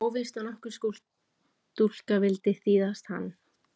Og óvíst að nokkur stúlka vildi þýðast hann.